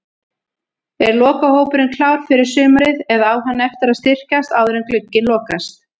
Er lokahópurinn klár fyrir sumarið eða á hann eftir að styrkjast áður en glugginn lokast?